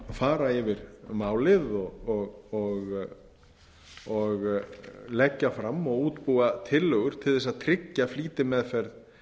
fara yfir málið og leggja fram og útbúa tillögur til að tryggja flýtimeðferð